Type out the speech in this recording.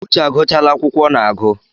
Uche agụchala akwụkwọ ọ na-agụ